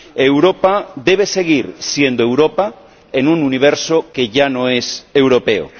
Europa debe seguir siendo Europa en un universo que ya no es europeo.